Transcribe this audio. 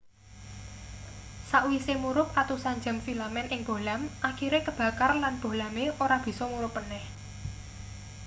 sakwise murup atusan jam filamen ing bohlam akhire kebakar lan bohlame ora bisa murup maneh